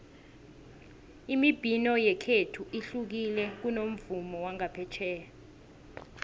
imibhino yekhethu ihlukile kunomvumo wangaphetjheya